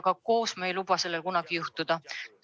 Aga üheskoos ei luba me sellel kunagi juhtuda.